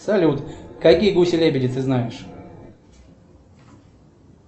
салют какие гуси лебеди ты знаешь